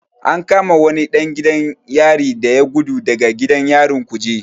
An kama wani ɗan gidan yari da ya gudu daga gidan yarin kuje.